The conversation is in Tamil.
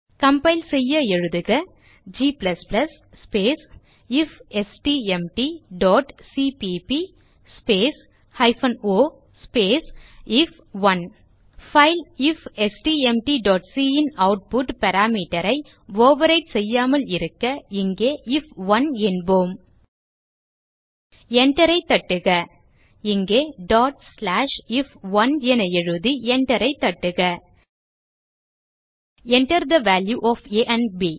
கம்பைல் செய்ய எழுதுக g ifstmtசிபிபி o ஐஎஃப்1 பைல் ifstmtசி ன் ஆட்புட் parameterஐ ஓவர்விரைட் செய்யாமல் இருக்க இங்கே ஐஎஃப்1 என்போம் Enter ஐ தட்டுக இயக்க if1 என எழுதி Enter ஐ தட்டுக Enter the value of a and ப்